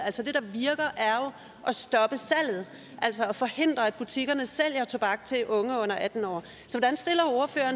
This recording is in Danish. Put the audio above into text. jo at stoppe salget altså at forhindre at butikkerne sælger tobak til unge under atten år